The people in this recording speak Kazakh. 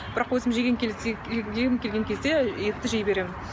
бірақ өзім жегім келсе жегім келген кезде етті жей беремін